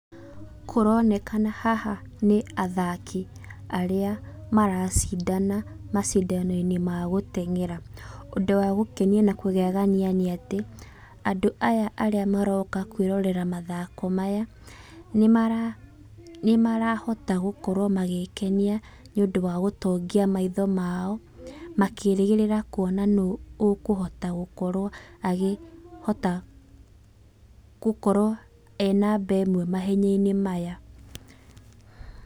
Kũronekana haha nĩ athaki arĩa maracindana macindano-inĩ ma gũteng'era, ũndũ wa gũkena na kũgegania nĩ atĩ, andũ aya arĩa maroka kwĩrorera mathako maya, nĩ marahota gũkorwo magĩkenia nĩ ũndũ wa gũtũngia maitho mao makĩrĩgĩrĩra kuona nũũ ũkũhota gũkorwo akihota gũkorwo e namba ĩmwe mahenya-inĩ maya.